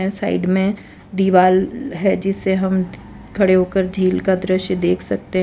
यहाँ साइड में दीवाल है जिसे हम खड़े होकर झील का दृश्य देख सकते --